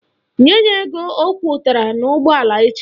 Nye ya ego ọ kwọtara n'ụgbọala echi!